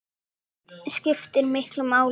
Þetta skiptir miklu máli.